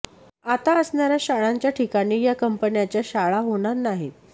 आता असणार्या शाळांच्या ठिकाणी या कंपन्यांच्या शाळा होणार नाहीत